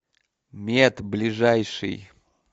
мед ближайший